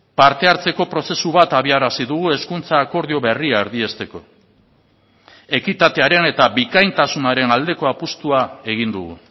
parte hartzeko prozesu bat abiarazi dugu hezkuntza akordio berria erdiesteko ekitatearen eta bikaintasunaren aldeko apustua egin dugu